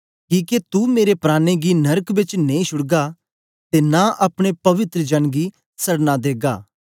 किके तू मेरे प्राणें गी नरक बेच नेई छुड़गा ते नां अपने पवित्र जन गी सड़ना देगा